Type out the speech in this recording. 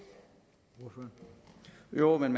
når man